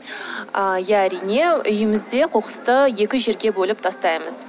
а иә әрине үйімізде қоқысты екі жерге бөліп тастаймыз